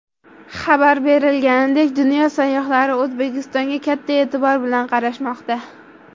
Xabar berilganidek, dunyo sayyohlari O‘zbekistonga katta e’tibor bilan qarashmoqda.